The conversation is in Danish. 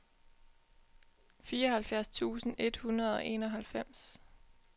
fireoghalvfjerds tusind et hundrede og enoghalvfems